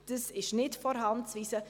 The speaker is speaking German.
Es ist nicht von der Hand zu weisen: